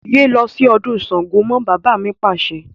Yé lọ sí ọdún Sángo mọ́! Bàbá mi Pàṣẹ.